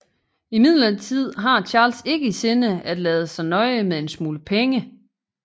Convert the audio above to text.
Imidlertid har Charles ikke i sinde at lade sig nøje med en smule penge